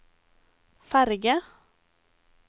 ferge